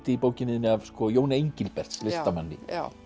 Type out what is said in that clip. í bókinni þinni af Jóni Engilberts listamanni já